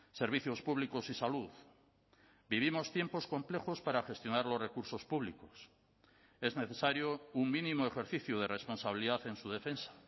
servicios públicos y salud vivimos tiempos complejos para gestionar los recursos públicos es necesario un mínimo ejercicio de responsabilidad en su defensa